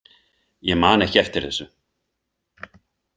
Ég man ekki eftir þessu.